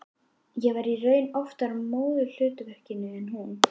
Ég var í raun oftar í móðurhlutverkinu en hún.